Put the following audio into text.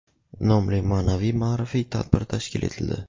nomli ma’naviy-ma’rifiy tadbir tashkil etildi.